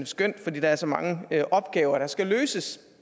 skønt fordi der er så mange opgaver der skal løses